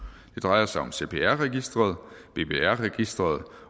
det drejer sig om cpr registeret bbr registeret